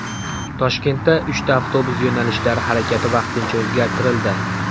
Toshkentda uchta avtobus yo‘nalishlari harakati vaqtincha o‘zgartirildi.